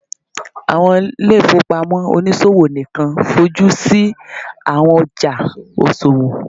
awọn ile-ifowopamọ oniṣowo nikan fojusi awọn ọja iṣowo